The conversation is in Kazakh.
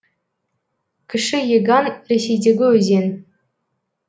кіші еган ресейдегі өзен